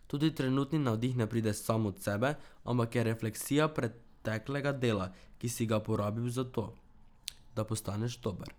Tudi trenutni navdih ne pride sam od sebe ampak je refleksija preteklega dela, ki si ga porabil za to, da postaneš dober.